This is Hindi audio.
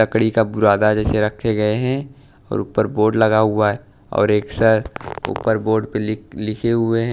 लकड़ी का बुरादा जैसे रखे गए हैं और ऊपर बोर्ड लगा हुआ है और एक सर ऊपर बोर्ड पे लिख लिखे हुए है--